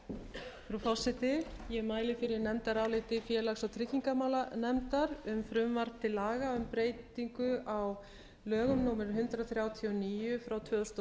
frú forseti ég mæli fyrir nefndaráliti félags og tryggingamálanefndar um frumvarp til laga um breytingu á lögum númer hundrað þrjátíu og níu tvö þúsund og